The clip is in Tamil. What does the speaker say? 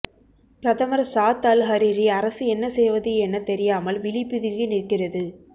பிரதமர் சாத் அல் ஹரிரி அரசு என்ன செய்வது என தெரியாமல் விழி பிதுங்கி நிற்கிறது